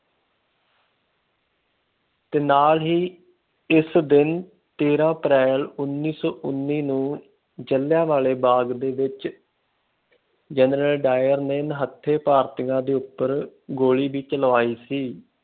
ਤੇ ਨਾਲ ਹੀ ਇਸ ਦਿਨ ਤੇਰਾ ਅਪ੍ਰੈਲ ਉਨੀ ਸੋ ਉੱਨੀ ਨੂੰ ਜਲਿਆਂਵਾਲੇ ਬਾਗ਼ ਦੇ ਵਿਚ general. dyer ਨੇ ਨਿਹੱਥੇ ਭਾਰਤੀਆਂ ਉਪਰ ਗੋਲੀ ਵੀ ਚਲਵਾਈ ਸੀ।